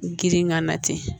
Girin ka na ten